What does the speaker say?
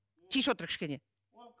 отыр кішкене